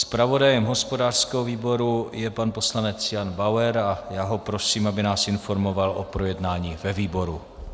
Zpravodajem hospodářského výboru je pan poslanec Jan Bauer a já ho prosím, aby nás informoval o projednání ve výboru.